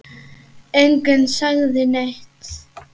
Enginn sagði neitt.